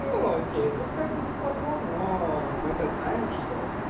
ну окей пускай будет патрон но мы то знаем что